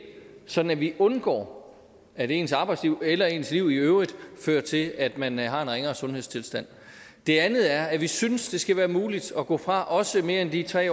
sådan at vi undgår at ens arbejdsliv eller ens liv i øvrigt fører til at man har en ringere sundhedstilstand det andet er at vi synes det skal være muligt at gå fra også mere end de tre